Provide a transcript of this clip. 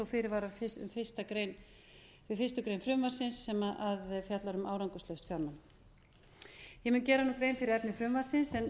fyrirvara um fyrstu grein frumvarpsins sem fjallar um árangurslaus ég mun gera grein fyrir efni frumvarpsins en